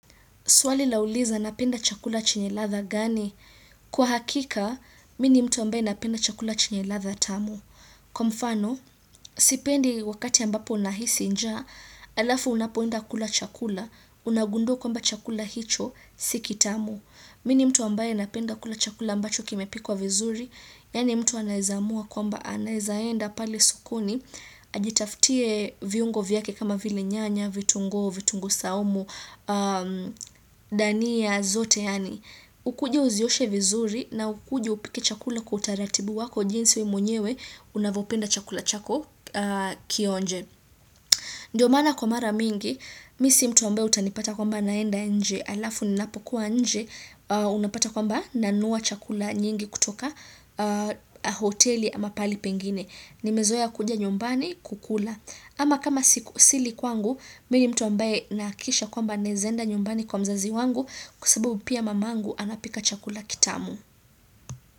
Swali la uliza napenda chakula chenye ladha gani? Kwa hakika, mi nimtu ambaye napenda chakula chenye ladha tamu. Kwa mfano, sipendi wakati ambapo nahisi nja, alafu unapoenda kula chakula, unagundua kwamba chakula hicho, sikitamu. Mi nimtu ambaye napenda kula chakula ambacho kimepikwa vizuri, yani mtu anaeza amua kwamba anaeza enda pale sokoni, Ajitafutie viungo vyake kama vile nyanya, vitungo, vitungo saumu, dania zote yani Ukuju uzioshe vizuri na ukuju upike chakula kwa utaratibu wako jinsi we mwenyewe Unavopenda chakula chako kionje Ndiyo maana kwa mara mingi, mi si mtu ambaye utanipata kwamba naenda nje Alafu nilapokuwa nje, unapata kwamba nanua chakula nyingi kutoka hoteli ama pali pengine nimezoea kuja nyumbani kukula ama kama sili kwangu Mi ni mtu ambaye nahakikisha kwamba naeza enda nyumbani kwa mzazi wangu kwa sababu pia mamangu anapika chakula kitamu.